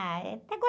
Ah, é até